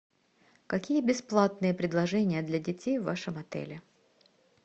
какие бесплатные предложения для детей в вашем отеле